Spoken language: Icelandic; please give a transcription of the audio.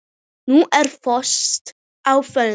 Nú er frost á Fróni